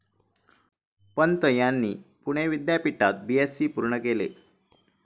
पंत यांनी पुणे विद्यापीठात बीएससी पूर्ण केले.